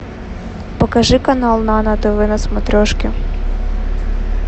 покажи канал нано тв на смотрешке